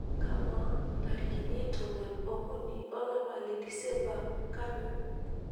kamaa ntarikini tomon okuni olapa le disemba kanu